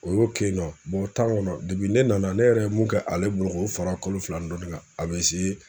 O y'o kɛ yen nɔ tan kɔnɔ ne nana ne yɛrɛ ye mun kɛ ale bolo k'o fara kalo fila ni dɔnnin kan a bɛ se.